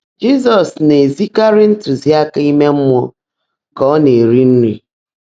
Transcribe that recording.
Jizọs na-ezikarị ntụziaka ime mmụọ ka ọ na-eri nri.